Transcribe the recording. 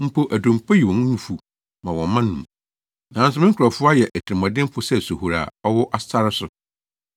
Mpo adompo yi wɔn nufu ma wɔn mma num, nanso me nkurɔfo ayɛ atirimɔdenfo sɛ sohori a ɔwɔ sare so.